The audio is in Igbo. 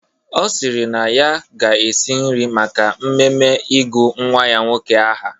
Ọ si na ọ ga-esi nri maka mmemme ịgụ nnwa ya nwoke aha.